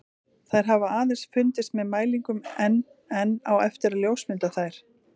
Þær hafa aðeins fundist með mælingum en enn á eftir að ljósmynda þær.